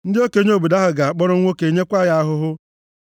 Ndị okenye obodo ahụ ga-akpọrọ nwoke nyekwa ya ahụhụ.